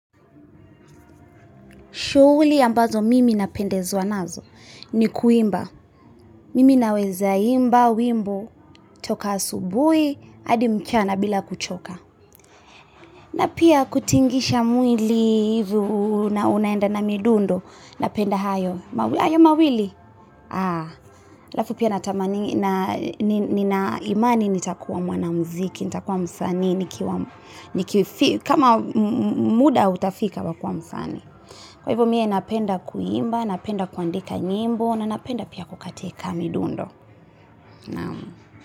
Shughuli ambazo mimi napendezwa nazo ni kuimba. Mimi naweza imba wimbo, toka asubui, hadi mchana bila kuchoka. Na pia kutingisha mwili na unaenda na midundo, napenda hayo. Hayo mawili? Aa. Alafu pia natamani na nina imani nitakuwa mwanamziki, nitakuwa msanii, kama muda utafika wa kuwa msanii. Kwa hivyo mie napenda kuimba, napenda kuandika nyimbo na napenda pia kukatika midundo.